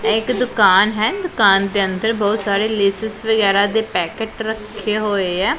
ਇਹ ਇੱਕ ਦੁਕਾਨ ਹੈ ਦੁਕਾਨ ਦੇ ਅੰਦਰ ਬਹੁਤ ਸਾਰੇ ਲੇਜ਼ ਵਗੈਰਾ ਦੇ ਪੈਕੇਟ ਰੱਖੇ ਹੋਏ ਐ।